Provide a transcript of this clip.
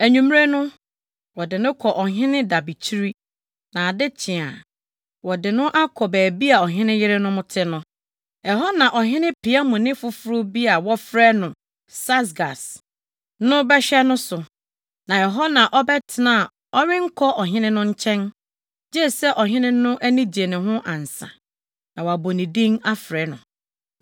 Anwummere no, wɔde no kɔ ɔhene dabekyire, na ade kye a, wɔde no akɔ baabi a ɔhene yerenom te no. Ɛhɔ na ɔhene piamni foforo bi a wɔfrɛ no Saasgas na bɛhwɛ no so. Na ɛhɔ na ɔbɛtena a ɔrenkɔ ɔhene no nkyɛn gye sɛ ɔhene no ani gye ne ho ansa na wabɔ ne din afrɛ no.